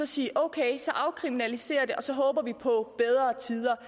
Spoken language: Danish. sige at okay så afkriminaliserer vi det og så håber vi på bedre tider